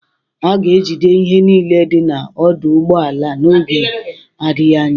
A ga-ejide ihe niile dị na ọdụ ụgbọ ala n'oge adịghị anya